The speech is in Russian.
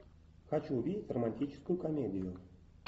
хочу увидеть романтическую комедию